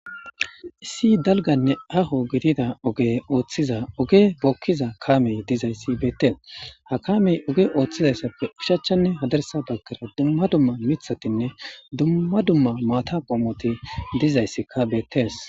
issi dalganne haho gidida oge ooththiza oge bookkiza kamey dizayssi beettees ha kamey oge ooththizayssappe ushachchanne hadarsa bagkara dumma dumma mithatinne dumma dumma maata poomoti dizayssikka beettees